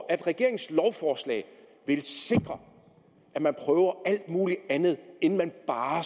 at regeringens lovforslag vil sikre at man prøver alt muligt andet inden man